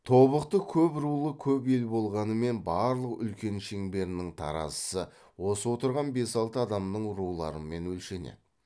тобықты көп рулы көп ел болғанымен барлық үлкен шеңберінің таразысы осы отырған бес алты адамның руларымен өлшенеді